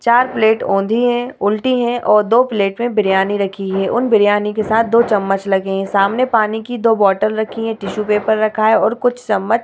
चार प्लेट ओंधी है उल्टी है और दो प्लेट में बिरयानी रखी है | उन बिरयानी के साथ दो चम्मच लगे हैं | सामने पानी की दो बोतल रखी है टिश्यू पेपर रखा है और कुछ चम्मच --